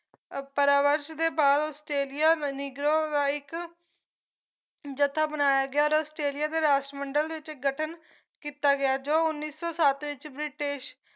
ਪਰਾਵਰਸ਼ ਦੇ ਬਾਅਦ Australia negro ਦਾ ਇੱਕ ਜੱਥਾ ਬਣਾਇਆ ਗਿਆ ਔਰ ਆਸਟ੍ਰੇਲੀਆ ਦੇ ਰਾਸ਼ਟਰ ਮੰਡਲ ਵਿੱਚ ਹ ਗਠਨ ਕੀਤਾ ਗਿਆ ਤੇ ਜੋ ਨੌ ਉੱਨੀ ਸੌ ਸੱਤ ਵਿੱਚ ਬ੍ਰਿਟਿਸ਼